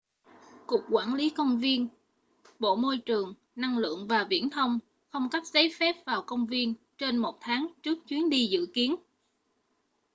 cục quản lý công viên bộ môi trường năng lượng và viễn thông không cấp giấy phép vào công viên trên một tháng trước chuyến đi dự kiến